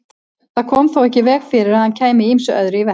Það kom þó ekki í veg fyrir að hann kæmi ýmsu öðru í verk.